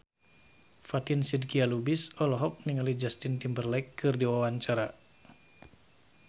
Fatin Shidqia Lubis olohok ningali Justin Timberlake keur diwawancara